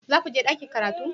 Za ku je ɗakin karatu?